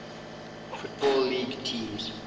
football league teams